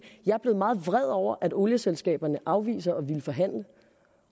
jeg er blevet meget vred over at olieselskaberne afviser at ville forhandle